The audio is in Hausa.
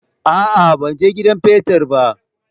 A'a, ban he gidan petir ba.